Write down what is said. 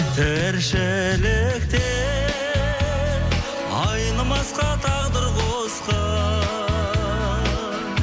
тіршілікте айнымасқа тағдыр қосқан